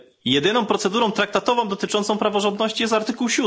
Jedyną procedurą traktatową dotyczącą praworządności jest artykuł